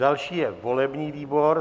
Další je volební výbor.